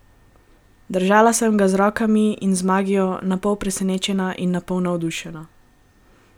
Držala sem se ga z rokami in z magijo, napol presenečena in napol navdušena.